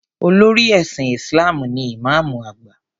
Olórí ẹ̀sìn Isalm ni Ìmáàmù àgbà.